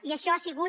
i això ha sigut